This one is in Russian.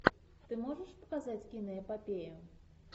ты можешь показать киноэпопею